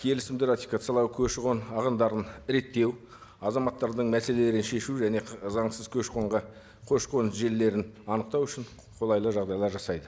келісімді ратификациялау көші қон ағымдарын реттеу азаматтардың мәселелерін шешу және заңсыз көші қонға көші қон желілерін анықтау үшін қолайлы жағдайлар жасайды